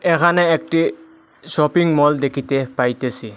এখানে একটি শপিংমল দেখিতে পাইতেসি।